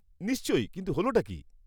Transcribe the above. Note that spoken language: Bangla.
-নিশ্চয়ই, কিন্তু হলটা কী?